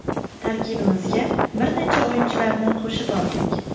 Tarkibimizga bir necha o‘yinchilarni qo‘shib oldik.